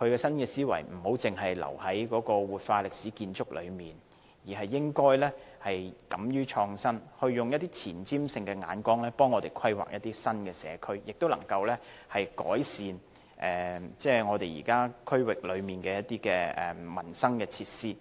而這種新思維不應該只停留在活化歷史建築上，而是應該敢於創新，用具前瞻性的眼光，替我們規劃一些新社區，改善地區的民生設施。